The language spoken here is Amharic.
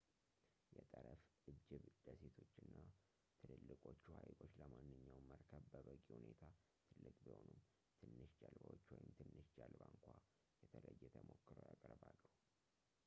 የጠረፍ እጅብ ደሴቶች እና ትልልቆቹ ሃይቆች ለማንኛውም መርከብ በበቂ ሁኔታ ትልቅ ቢሆኑም ትንሽ ጀልባዎች ወይም ትንሽ ጀልባ እንኳ የተለየ ተሞክሮ ያቀርባሉ